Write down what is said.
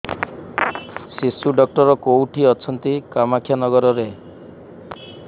ଶିଶୁ ଡକ୍ଟର କୋଉଠି ଅଛନ୍ତି କାମାକ୍ଷାନଗରରେ